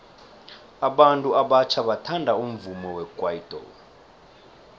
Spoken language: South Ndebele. abantu abatjha bathanda umvumo wekwaito